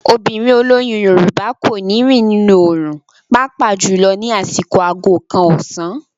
Obìnrin olóyún Yorùbá kò ní rìn nínú òòrùn pàápàá jùlọ ní àsìkò aago kan ọ̀sán.